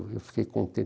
Eu fiquei